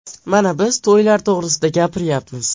Mana, biz to‘ylar to‘g‘risida gapiryapmiz.